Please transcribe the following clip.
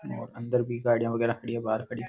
और अंदर भी गाड़ियां वगैरा खड़ी है बाहर खड़ी --